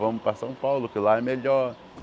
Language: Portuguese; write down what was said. Vamos para São Paulo que lá é melhor.